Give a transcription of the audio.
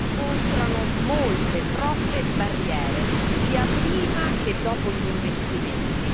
incontrano molte, troppe barriere, sia prima che dopo gli investimenti